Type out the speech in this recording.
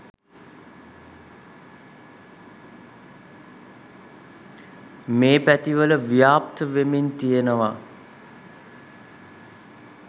මේ පැතිවල ව්‍යාප්ත වෙමින් තියනවා.